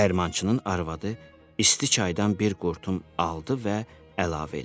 Dəyirmançının arvadı isti çaydan bir qurtum aldı və əlavə elədi.